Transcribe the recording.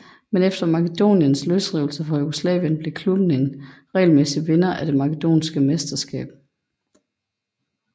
Men efter Makedoniens løsrivelse fra Jugoslavien blev klubben en regelmæssig vinder af det makedonske mesterskab